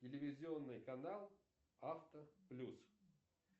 телевизионный канал авто плюс